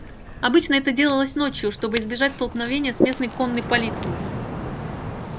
обычно это делалось ночью чтобы избежать столкновения с местной конной полицией